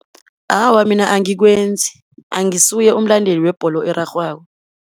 Awa, mina angikwenzi, angisuye umlandeli webholo erarhwako.